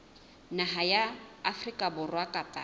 naha ya afrika borwa kapa